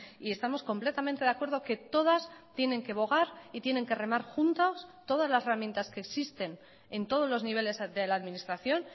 y estamos completamente de acuerdo que todas tienen que bogar y tienen que remar juntas todas las herramientas que existen en todos los niveles de la administración